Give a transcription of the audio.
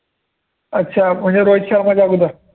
अच्छा म्हणजे रोहित शर्माच्या अगोदर